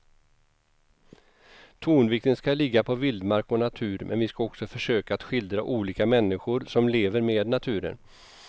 Tonvikten ska ligga på vildmark och natur men vi ska också försöka att skildra olika människor som lever med naturen.